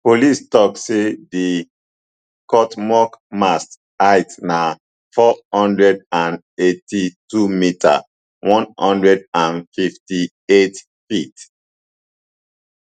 police tok say di cuauhtmoc mast height na four hundred and eighty-two metre one hundred and fifty-eightft